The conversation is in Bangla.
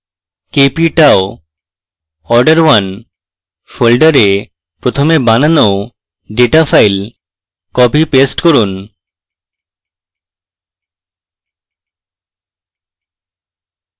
kp tau order1 folder প্রথমে বানানো ডেটা file copypaste করুন